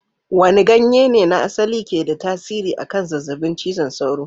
Wane ganye ne na asali ke da tasiri akan zazzabin cizon sauro?